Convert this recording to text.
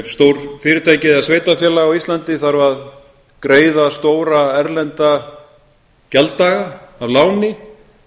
ef stórt fyrirtæki eða sveitarfélag á íslandi þarf að greiða stóra erlenda gjalddaga af láni